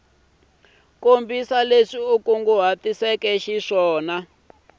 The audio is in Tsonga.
kombisa leswi u kunguhatiseke xiswona